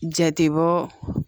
Jatebɔ